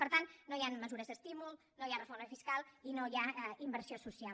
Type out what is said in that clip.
per tant no hi han mesures d’estímul no hi ha reforma fiscal i no hi ha inversió social